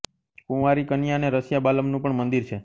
કુંવારી કન્યા અને રસિયા બાલમનું પણ મંદિર છે